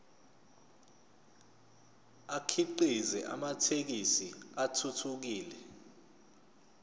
akhiqize amathekisthi athuthukile